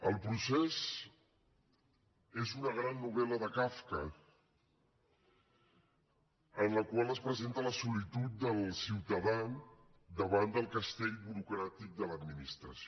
el procés és una gran novel·la de kafka en la qual es presenta la solitud del ciutadà davant del castell burocràtic de l’administració